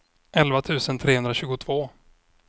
elva tusen trehundratjugotvå